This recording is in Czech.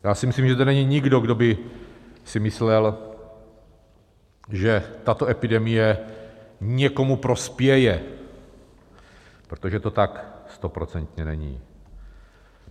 Já si myslím, že tady není nikdo, kdo by si myslel, že tato epidemie někomu prospěje, protože to tak stoprocentně není.